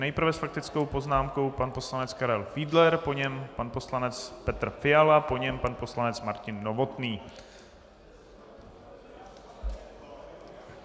Nejprve s faktickou poznámkou pan poslanec Karel Fiedler, po něm pan poslanec Petr Fiala, po něm pan poslanec Martin Novotný.